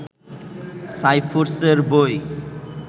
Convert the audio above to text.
সাইফুরস এর বই